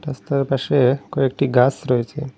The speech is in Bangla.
রাস্তার পাশে কয়েকটি গাস রয়েছে।